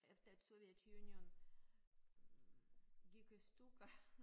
Efter at Soviet Union hm gik i stykker